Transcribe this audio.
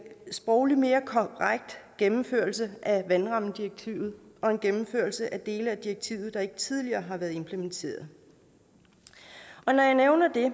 sprogligt mere korrekt gennemførelse af vandrammedirektivet og en gennemførelse af dele af direktivet der ikke tidligere har været implementeret når jeg nævner det er